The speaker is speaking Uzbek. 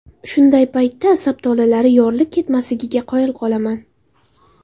Shunday paytda asab tolalari yorilib ketmasligiga qoyilman.